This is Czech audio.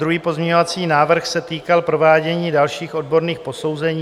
Druhý pozměňovací návrh se týkal provádění dalších odborných posouzení.